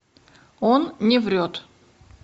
он не врет